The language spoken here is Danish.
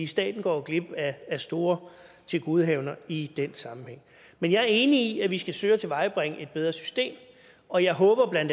staten går glip af store tilgodehavender i den sammenhæng men jeg er enig i at vi skal søge at tilvejebringe et bedre system og jeg håber bla at